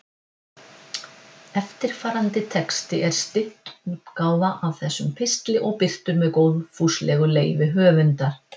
Eftirfarandi texti er stytt útgáfa af þessum pistli og birtur með góðfúslegu leyfi höfundar.